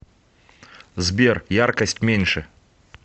сбер яркость меньше